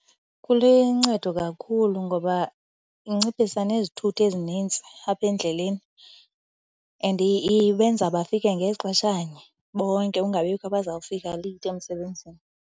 Kuluncedo kakhulu ngoba inciphisa nezithuthi ezinintsi apha endleleni and ibenza bafike ngexeshanye bonke, ungabikho abazawufika leyithi emsebenzini.